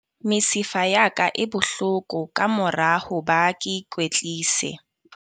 Mesifa ya ka e bohloko ka mora ho ba ke ikwetlise.